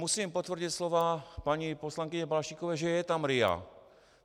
Musím potvrdit slova paní poslankyně Balaštíkové, že je tam RIA.